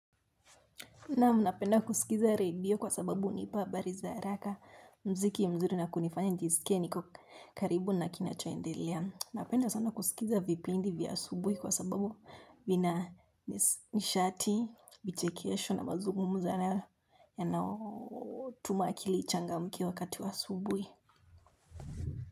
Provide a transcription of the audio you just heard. Naam, napenda kusikiza radio kwa sababu hunipa habari za haraka mziki mzuri na kunifanya nijisike niko karibu na kinacho endelea. Napenda sana kusikiza vipindi vya asubuhi kwa sababu vina nishati, vichekesho na mazungumzo yanayo tuma akili ichangamke wakati wa asubuhi.